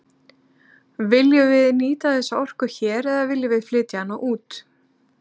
Viljum við nýta þessa orku hér eða viljum við flytja hana út?